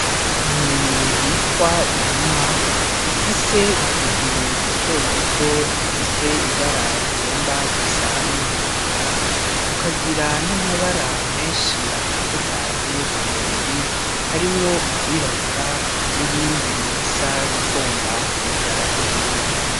Inyoni bitwa inuma ifise utuguru duto duto dufise ibara rigomba gusa n'iritukura tukagira n'amabara menshi atandukanye ku mubiri harimwo iryirabura n'irindi risa n'irigomba kumera nk'iryera.